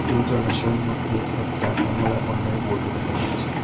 এই জলাশয়ের মধ্যে একটা কমলা বর্ণের বোটও দেখা যাচ্ছে।